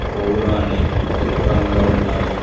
పూవ్వులు అన్ని ఎరుపు రంగులో ఉన్నాయి.